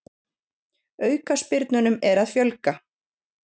Aukaspyrnunum er að fjölga